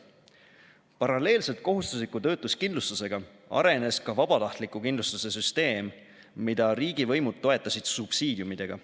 Paralleelselt kohustusliku töötuskindlustusega arenes ka vabatahtliku kindlustuse süsteem, mida riigivõimud toetasid subsiidiumidega.